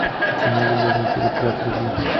кино любовный переплет вруби